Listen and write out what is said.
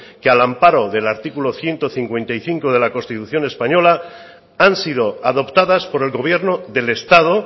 que al amparo del artículo ciento cincuenta y cinco de la constitución española han sido adoptadas por el gobierno del estado